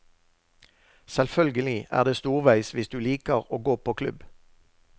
Selvfølgelig er det storveis hvis du liker å gå på klubb.